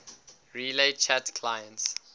relay chat clients